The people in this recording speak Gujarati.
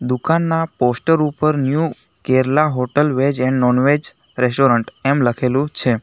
દુકાનના પોસ્ટર ઉપર new Kerala hotel veg and non veg restaurant એમ લખેલું છે.